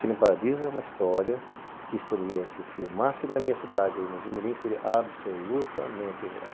Cine Paradiso é uma história que poderia se filmar se na minha cidade o Jimirim seria absolutamente real.